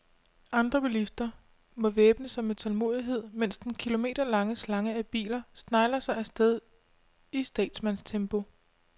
Andre bilister må væbne sig med tålmod, mens den kilometerlange slange af biler snegler sig afsted i statsmandstempo.